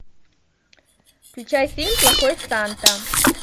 включай фильм плохой санта